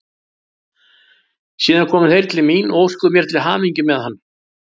Síðan komu þeir til mín og óskuðu mér til hamingju með hann.